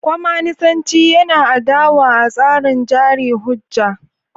Kwaminisanci yana adawa a tsarin jari hujja.